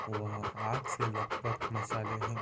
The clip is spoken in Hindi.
वहां आग से लथपथ मसाले हैं।